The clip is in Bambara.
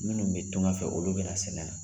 Munnu be tunga fɛ ,olu be na sɛnɛ na